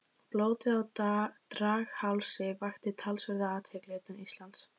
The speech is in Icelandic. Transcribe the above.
Blótið á Draghálsi vakti talsverða athygli utan Íslands.